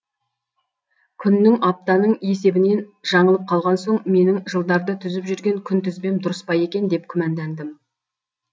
күннің аптаның есебінен жаңылып қалған соң менің жылдарды түзіп жүрген күнтізбем дұрыс па екен деп күмәндандым